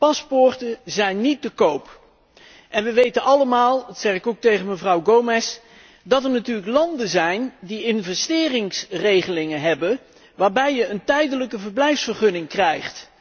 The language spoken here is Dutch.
Paspoorten zijn niet te koop. En we weten allemaal dat zeg ik ook tegen mevrouw Gomes dat er natuurlijk landen zijn die investeringsregelingen hebben waarbij je een tijdelijke verblijfsvergunning krijgt.